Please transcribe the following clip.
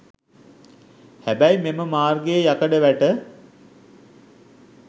හැබැයි මෙම මාර්ගයේ යකඩ වැට